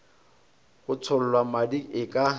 go tšhollwa madi e ka